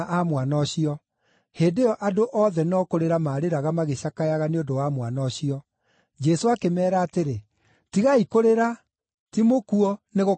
Hĩndĩ ĩyo andũ othe no kũrĩra maarĩraga magĩcakayaga nĩ ũndũ wa mwana ũcio. Jesũ akĩmeera atĩrĩ, “Tigai kũrĩra, ti mũkuũ, nĩ gũkoma akomete.”